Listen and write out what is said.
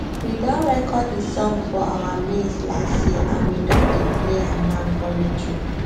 we don record the song for our maize last year and we don dey play am now for radio